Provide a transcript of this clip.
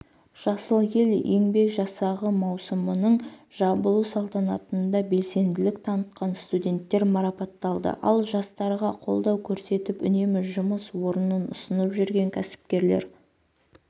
жасыл ел еңбек жасағы маусымның жабылу салтанатында белсенділік танытқан студенттер марапатталды ал жастарға қолдау көрсетіп үнемі жұмыс орнын ұсынып жүрген кәсіпкерлер